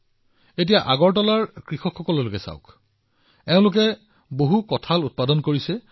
উদাহৰণ স্বৰূপে আগৰতলাৰ কৃষকসকলক চাওক এই কৃষকসকলে অতি ভাল কঁঠাল উৎপাদন কৰে